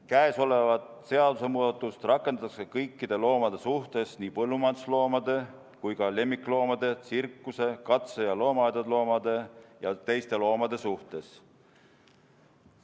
Käesolevat seadusemuudatust rakendatakse kõikide loomade suhtes, nii põllumajandusloomade kui ka lemmikloomade, tsirkuse- katse- ja loomaaedade loomade ja teistegi loomade suhtes.